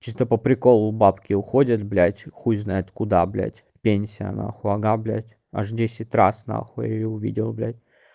чисто по-приколу бабки уходят блять хуй знает куда блять пенсия нахуй ага блять аж десять раз нахуй я её увидел бля